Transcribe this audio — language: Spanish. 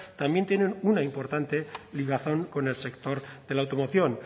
también tienen una importante ligazón con el sector de la automoción